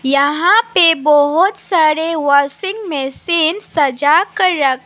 यहां पे बहुत सारे वाशिंग मशीन सजाकर रख--